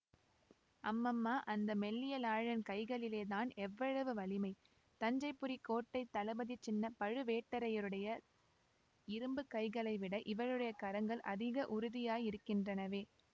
அம்மம்மா அந்த மெல்லியலாளின் கைகளிலே தான் எவ்வளவு வலிமை தஞ்சைபுரிக்கோட்டைத் தளபதி சின்ன பழுவேட்டரையருடைய இரும்பு கைகளைவிட இவளுடைய கரங்கள் அதிக உறுதியாயிருக்கின்றனவே